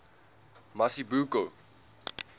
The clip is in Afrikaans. mazibuko